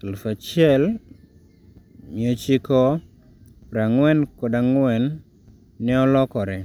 1944, neolore